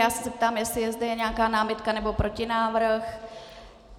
Já se zeptám, jestli je zde nějaká námitka nebo protinávrh.